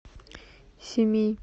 семей